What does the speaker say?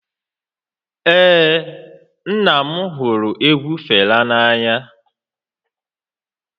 Ee, nna m hụrụ egwu Fela n'anya